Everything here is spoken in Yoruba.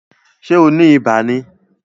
Ṣé o ni ibà ni?